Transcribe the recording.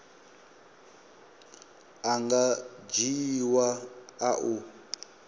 a nga dzhiiwa a u